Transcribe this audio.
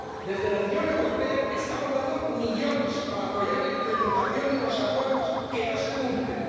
Desde la Unión Europea estamos dando millones para apoyar la implementación de unos acuerdos que no se cumplen.